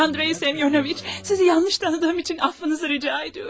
Sayın Andrey Semiyonoviç, sizi yanlış tanıdığım için affınızı rica ediyorum.